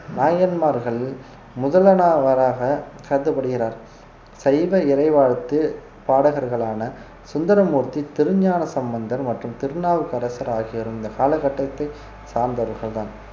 நாயன்மார்கள் முதலாவதாக கருதப்படுகிறார் சைவ இறைவாழ்த்து பாடகர்களான சுந்தரமூர்த்தி திருஞானசம்பந்தர் மற்றும் திருநாவுக்கரசர் ஆகியோரும் இந்த காலகட்டத்தை சார்ந்தவர்கள்தான்